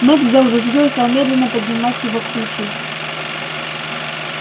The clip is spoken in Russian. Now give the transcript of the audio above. мэтт взял ружьё и стал медленно поднимать его к плечу